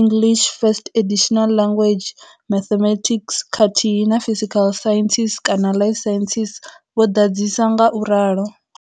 English First Additional Language, mathematics, khathihi na physical sciences kana life sciences, vho ḓadzisa nga u ralo.